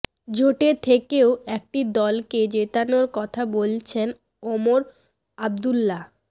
জোটে থেকেও একটি দলকে জেতানোর কথা বলছেন ওমর আবদুল্লা